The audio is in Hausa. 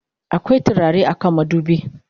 akwai turare a kan madubi?